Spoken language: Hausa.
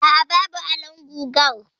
Aa, babu alon gugar.